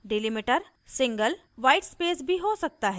delimiter single whitespace भी हो सकता है